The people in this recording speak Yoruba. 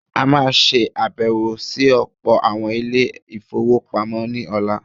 A má a ṣe àbẹ̀wọ̀ sí ọ̀pọ̀ àwọn Ilé-ìfowópamọ́ ní ọ̀la.